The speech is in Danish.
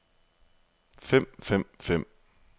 fem fem fem